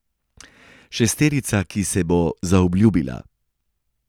Šesterica, ki se bo zaobljubila.